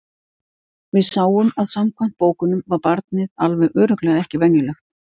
Við sáum að samkvæmt bókunum var barnið alveg örugglega ekki venjulegt.